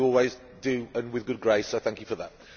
You always do, and with good grace, so I thank you for that.